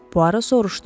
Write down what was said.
Puaro soruşdu.